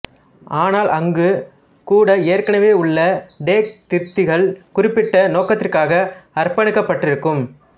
ஆனால் அங்கு கூட ஏற்கனவே உள்ள டேக் திருத்திகள் குறிப்பிட்ட நோக்கத்திற்காக அர்ப்பணிக்கப்பட்டிருக்கும்